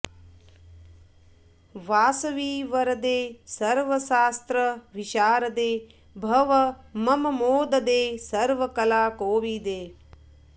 वासवि वरदे सर्वशास्त्र विशारदे भव मम मोददे सर्वकला कोविदे